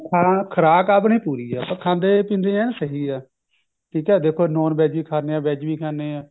ਖੁਰਾਕ ਖੁਰਾਕ ਆਪਣੀ ਪੂਰੀ ਐ ਆਪਾਂ ਖਾਂਦੇ ਪੀਂਦੇ ਆ ਸਹੀ ਹੈ ਠੀਕ ਐ non veg ਵੀ ਖਾਂਦੇ ਹਾਂ veg ਵੀ ਖਾਂਦੇ ਹਾਂ